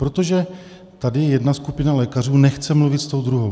Protože tady jedna skupina lékařů nechce mluvit s tou druhou.